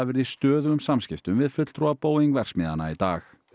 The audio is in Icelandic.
verið í stöðugum samskiptum við fulltrúa Boeing verksmiðjanna í dag